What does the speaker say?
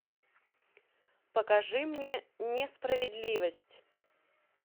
покажи мне несправедливость